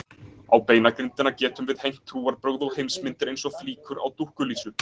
Á beinagrindina getum við hengt trúarbrögð og heimsmyndir eins og flíkur á dúkkulísu.